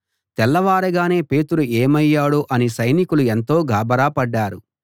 తెల్లవారగానే పేతురు ఏమయ్యాడో అని సైనికులు ఎంతో గాభరాపడ్డారు